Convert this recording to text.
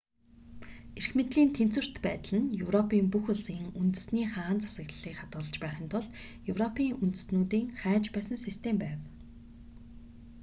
эрх мэдлийн тэнцвэрт байдал нь европын бүх улсын үндэсний хаант засаглалыг хадгалж байхын тулд европын үндэстнүүдийн хайж байсан систем байв